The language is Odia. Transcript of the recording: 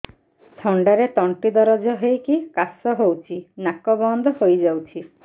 ଥଣ୍ଡାରେ ତଣ୍ଟି ଦରଜ ହେଇକି କାଶ ହଉଚି ନାକ ବନ୍ଦ ହୋଇଯାଉଛି